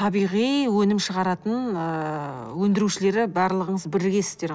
табиғи өнім шығаратын ыыы өндірушілері барлығыңыз бірігесіздер ғой